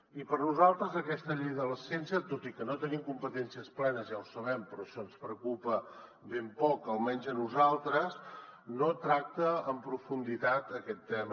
i per nosaltres aquesta llei de la ciència tot i que no tenim competències plenes ja ho sabem però això ens preocupa ben poc almenys a nosaltres no tracta en profunditat aquest tema